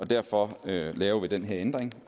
derfor laver vi den her ændring